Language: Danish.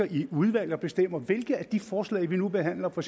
i udvalg og bestemmer hvilke af de forslag vi nu behandler for